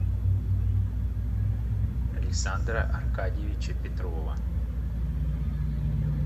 александра аркадьевича петрова